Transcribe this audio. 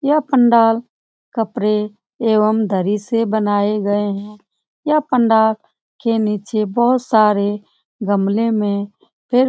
यह पंडाल कपडे एवं दरी से बनाए गए हैं यह पंडाल के नीचे बहोत सारे गमले में फिर --